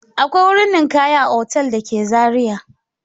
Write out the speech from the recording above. Akwai wuri ninkaya a otal da ke Zariya.